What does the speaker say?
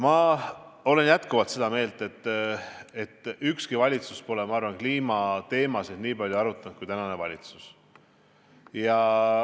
Ma olen jätkuvalt seda meelt, et ükski valitsus pole kliimateemasid nii palju arutanud kui tänane valitsus.